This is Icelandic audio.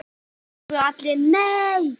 Einróma hrópuðu allir: NEI!